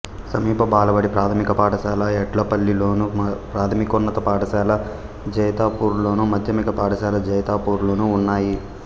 సమీప బాలబడి ప్రాథమిక పాఠశాల ఎడ్పల్లిలోను ప్రాథమికోన్నత పాఠశాల జైతాపూర్లోను మాధ్యమిక పాఠశాల జైతాపూర్లోనూ ఉన్నాయి